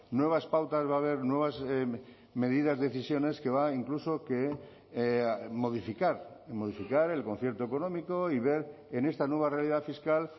nuevas pautas va a haber nuevas medidas decisiones que va incluso que modificar modificar el concierto económico y ver en esta nueva realidad fiscal